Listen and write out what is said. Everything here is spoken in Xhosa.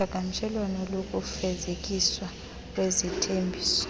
uqhagamshelwano lokufezekiswa kwezithembiso